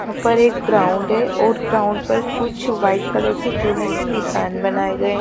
ऊपर एक ग्राउंड है और ग्राउंड पर कुछ वाईट कलर के चुने से निशान बनाए गए है।